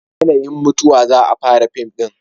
a yanayin mutuwa za a fara fim din